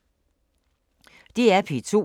DR P2